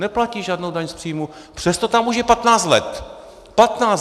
Neplatí žádnou daň z příjmů, přesto tam už je 15 let.